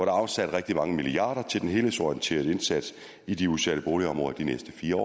er afsat rigtig mange milliarder kroner til den helhedsorienterede indsats i de udsatte boligområder de næste fire